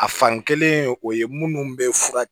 A fan kelen o ye minnu bɛ fura